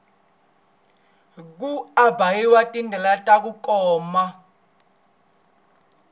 ku ambarhiwa ti delela taku koma